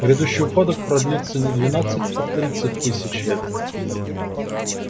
грядущий упадок продлится не двенадцать а тридцать тысяч лет